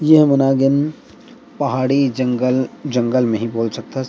ये हमन आ गेन पहाड़ी जंगल-जंगल में ही बोल सकथस --